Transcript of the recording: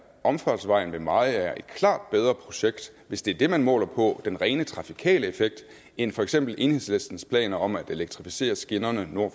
omfartsvejen ved mariager et klart bedre projekt hvis det er det man måler på den rene trafikale effekt end for eksempel enhedslistens planer om at elektrificere skinnerne nord